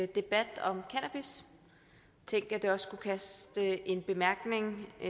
debat om cannabis tænk at det også skulle kaste en bemærkning af